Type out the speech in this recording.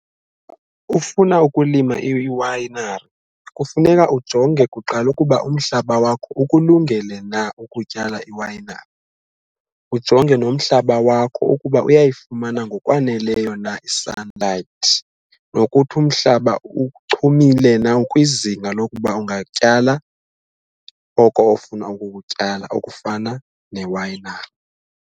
Ufuna ukulima iwayinari kufuneka ujonge kuqala ukuba umhlaba wakho ukulungele na ukutyala iwayinari, ujonge nomhlaba wakho ukuba uyayifumana ngokwaneleyo na i-sunlight nokuthi umhlaba uchumile na ukwizinga lokuba ungatyala oko ofuna ukukutyala okufana newayinari.